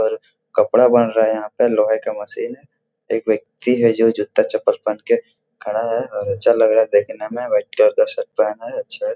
और कपड़ा बन रहा है यहां पे लोहे का मशीन है एक व्यक्ति है जो जूता- चप्पल पहनें के खड़ा है और अच्छा लग रहा है देखने में वाइट कलर का शर्ट पहना है अच्छा --